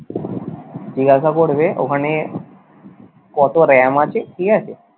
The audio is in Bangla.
জিজ্ঞাসা করবে ওখানে ওখানে কত RAM আছে ঠিক আছে?